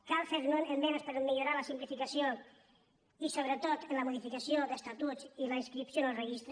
cal fer esmenes per millorar la simplificació i sobretot en la modificació d’estatuts i la inscripció en el registre